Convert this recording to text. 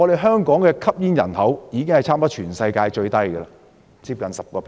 香港的吸煙人口幾乎是全世界最低，只接近 10%。